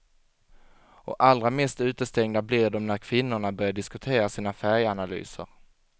Och allra mest utestängda blir de när kvinnorna börjar diskutera sina färganalyser.